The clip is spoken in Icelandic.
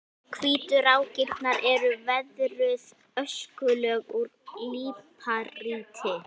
Hvítu rákirnar eru veðruð öskulög úr líparíti.